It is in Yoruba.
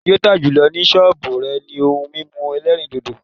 Ọjà tí ó tà jùlọ ni sọ́ọ̀bù rẹ̀ ni ohun mímu ẹlẹ́rìndòdò